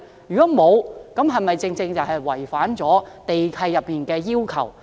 如果沒有，這情況是否違反了地契內的要求？